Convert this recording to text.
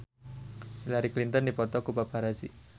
Hillary Clinton dipoto ku paparazi